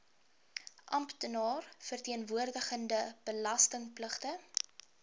amptenaar verteenwoordigende belastingpligtige